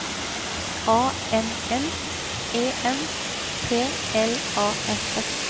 A N N E N P L A S S